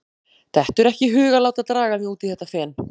Dettur ekki í hug að láta draga mig út í þetta fen.